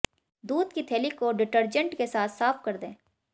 दूध की थैली को डिटर्जेंट के साथ साफ कर दें